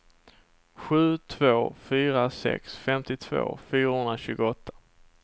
sju två fyra sex femtiotvå fyrahundratjugoåtta